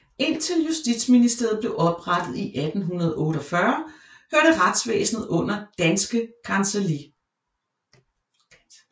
Indtil Justitsministeriet blev oprettet i 1848 hørte retsvæsenet under Danske Kancelli